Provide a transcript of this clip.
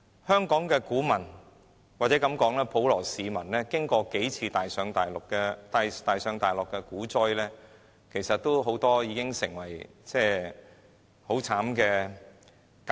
香港的股民或普羅市民在經歷了多次大上大落的股災後，很多人都已受過慘烈的教訓。